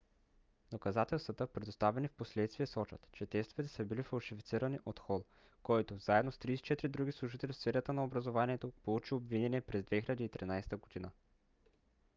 доказателствата предоставени впоследствие сочат че тестовете са били фалшифицирани от хол който заедно с 34 други служители в сферата на образованието получи обвинение през 2013 година